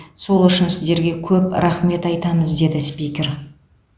сол үшін сіздерге көп рақмет айтамыз деді спикер